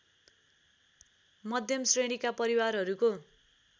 मध्यम श्रेणीका परिवारहरूको